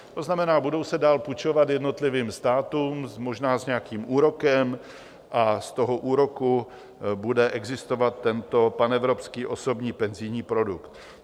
To znamená, budou se dál půjčovat jednotlivým státům, možná s nějakým úrokem, a z toho úroku bude existovat tento panevropský osobní penzijní produkt.